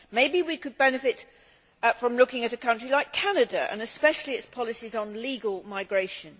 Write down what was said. Maybe we could benefit from looking at a country like Canada, and especially its policies on legal migration.